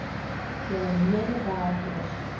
julle mede werkers